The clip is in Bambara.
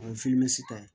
O ye ta ye